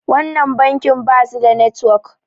wannan bankin ba su da network